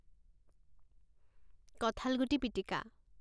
কঁঠালগুটি পিটিকা